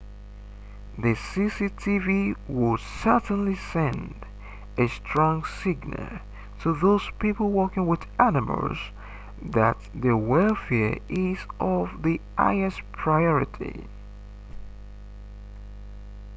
the cctv would certainly send a strong signal to those people working with animals that their welfare is of the highest priority